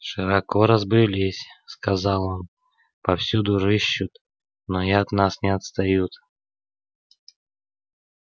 широко разбрелись сказал он повсюду рыщут но и от нас не отстают